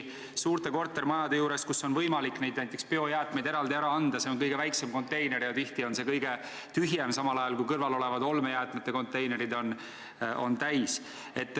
Suurte kortermajade juures, kus on võimalik näiteks biojäätmeid eraldi ära anda, on nende jaoks kõige väiksem konteiner ja tihti on see kõige tühjem, samal ajal kui kõrval olevad olmejäätmete konteinerid on täis.